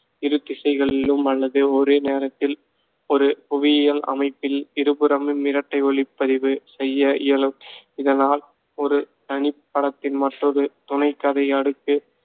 இரு திசைகளிலும் அல்லது ஒரே நேரத்தில் ஒரு புவியியல் அமைப்பில் இருபுறமும் இரட்டை ஒளிப்பதிவு செய்ய இயலும். இதனால் ஒரு தனிப் படத்தில் மற்றொரு துணை கதை அடுக்கு சேர்த்து காட்சியை முழுமைப்படுத்த முடியும்